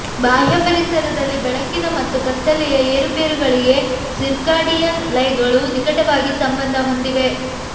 ಬಾಹ್ಯ ಪರಿಸರದಲ್ಲಿ ಬೆಳಕಿನ ಮತ್ತು ಕತ್ತಲೆಯ ಏರುಪೇರುಗಳಿಗೆ ಸಿರ್ಕಾಡಿಯನ್ ಲಯಗಳು ನಿಕಟವಾಗಿ ಸಂಬಂಧ ಹೊಂದಿವೆ